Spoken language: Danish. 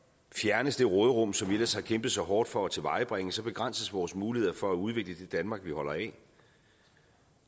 fjernes det råderum som vi ellers har kæmpet så hårdt for at tilvejebringe så begrænses vores muligheder for at udvikle det danmark vi holder af